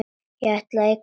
Ætlar að eignast mann.